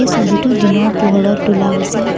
ছবিটো দিনৰ পোহৰত তোলা হৈছে।